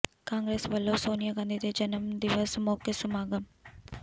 ਕਾਂਗਰਸ ਵੱਲੋਂ ਸੋਨੀਆ ਗਾਂਧੀ ਦੇ ਜਨਮ ਦਿਵਸ ਮੌਕੇ ਸਮਾਗਮ